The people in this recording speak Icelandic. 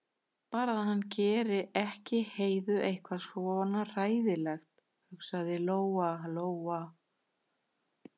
Bara að hann geri ekki Heiðu eitthvað svona hræðilegt, hugsaði Lóa-Lóa.